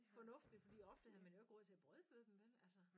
Fornuftigt fordi ofte havde man jo ikke råd til at brødføde dem vel altså